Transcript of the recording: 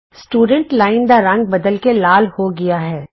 student line ਦਾ ਰੰਗ ਬਦਲ ਕੇ ਲਾਲ ਹੋ ਗਿਆ ਹੈ